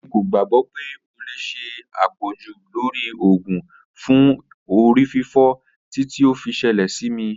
Emi ko gbagbọ pe o le ṣe apọju lori oògùn fun orififo titi o fi ṣẹlẹ si mi.